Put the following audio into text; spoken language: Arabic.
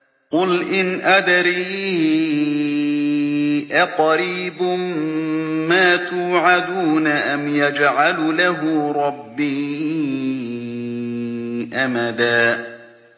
قُلْ إِنْ أَدْرِي أَقَرِيبٌ مَّا تُوعَدُونَ أَمْ يَجْعَلُ لَهُ رَبِّي أَمَدًا